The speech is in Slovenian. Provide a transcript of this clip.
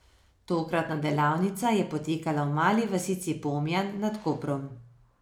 Tokratna delavnica je potekala v mali vasici Pomjan nad Koprom.